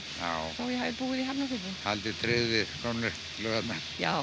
þó ég hafi búið í Hafnarfirði haldið tryggð við gömlu laugarnar